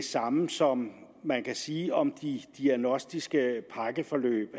det samme som man kan sige om de diagnostiske pakkeforløb